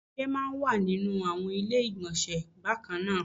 Ọṣẹ máa ń wà nínú àwọn ilé ìgbọ̀nsẹ̀ bákan náà